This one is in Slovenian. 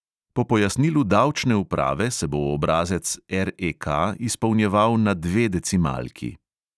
Po pojasnilu davčne uprave se bo obrazec REK izpolnjeval na dve decimalki.